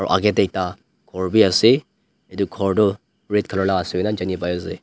aro akae tae ekta khor biase edu khor toh red colour la ase koina janipaiase.